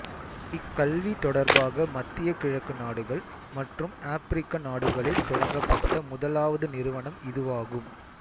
இக்கல்வி தொடர்பாக மத்திய கிழக்கு நாடுகள் மற்றும் ஆப்பிரிக்க நாடுகளில் தொடங்கப்பட்ட முதலாவது நிறுவனம் இதுவாகும்